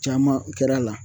Caman kɛr'a la